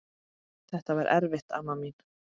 Þetta var erfitt amma mín.